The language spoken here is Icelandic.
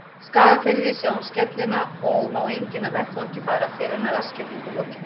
Skagafirði, sjá um skellina, og má enginn af vettvangi fara fyrr en að rassskellingu lokinni.